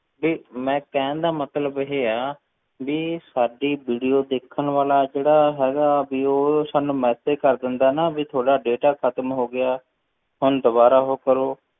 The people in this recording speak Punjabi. ਵੀ ਮੈਂ ਕਹਿਣ ਦਾ ਮਤਲਬ ਇਹ ਆ, ਵੀ ਸਾਡੀ video ਦੇਖਣ ਵਾਲਾ ਜਿਹੜਾ ਹੈਗਾ ਵੀ ਉਹ ਸਾਨੂੰ message ਕਰ ਦਿੰਦਾ ਨਾ ਵੀ ਤੁਹਾਡਾ data ਖ਼ਤਮ ਹੋ ਗਿਆ, ਹੁਣ ਦੁਬਾਰਾ ਉਹ ਕਰੋ,